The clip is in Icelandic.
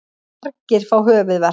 Margir fá höfuðverk.